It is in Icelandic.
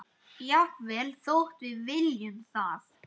Jafnvel þótt við viljum það?